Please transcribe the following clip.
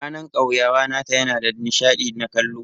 Ranan kauyawa nata yana da nishadi na kallo.